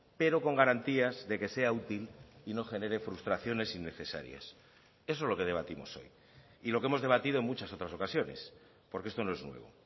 pero con garantías de que sea útil y no genere frustraciones innecesarias eso es lo que debatimos hoy y lo que hemos debatido en muchas otras ocasiones porque esto no es nuevo